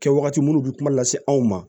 Kɛwagati minnu bɛ kuma lase anw ma